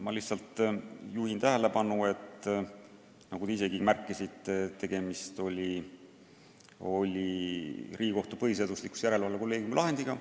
Ma lihtsalt juhin tähelepanu, et nagu te ise ehk ka märkasite, tegemist oli Riigikohtu põhiseaduslikkuse järelevalve kolleegiumi lahendiga.